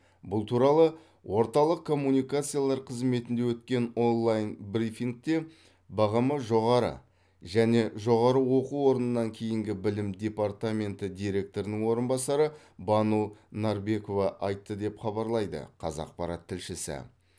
бұл туралы орталық коммуникациялар қызметінде өткен онлайн брифингте бғм жоғары және жоғары оқу орнынан кейінгі білім департаменті директорының орынбасары бану нарбекова айтты деп хабарлайды қазақпарат тілшісі